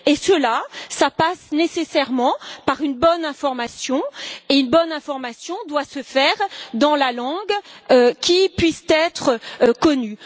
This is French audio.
Cela passe nécessairement par une bonne information, et une bonne information doit se faire dans la langue qui puisse être connue.